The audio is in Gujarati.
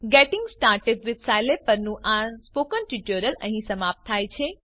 ગેટિંગ સ્ટાર્ટેડ વિથ સ્કિલાબ પરનું આ સ્પોકન ટ્યુટોરીયલ અહીં સમાપ્ત થાય છે